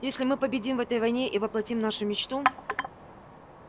если мы победим в этой войне и воплотим нашу мечту